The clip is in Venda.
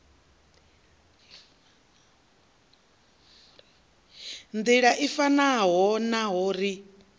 nḓila i fanaho naho ri